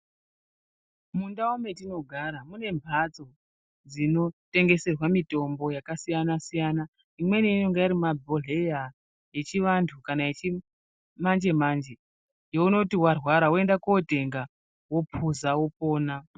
Mundau mwetinogara mune mbatso dzinotengeserwe mitombo dzakasiyana siyana. Imweni inonga iri mumabhhleya yechiantu kana yechimanje manje yeunoti warwara woende kootenga wopuza wopona.